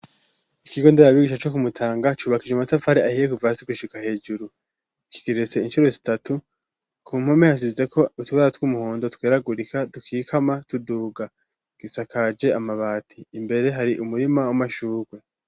Ikigo nderabigisha co kumutanga cubakishije amatafari ahiye, kuva hasi gushika hejuru. Kigeretse incuro zitatu, ku mpome hasizeko utubara tw'umuhondo tweragurika, dukikama tuduga. Gisakaje amabati , imbere hari umurima w'amashurwe.